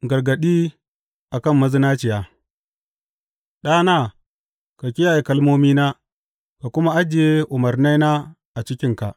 Gargaɗi A kan mazinaciya Ɗana, ka kiyaye kalmomina ka kuma ajiye umarnaina a cikinka.